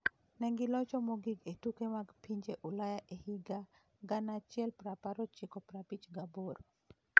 Ne gilocho mogik e tuke mag pinje Ulaya e higa 1958.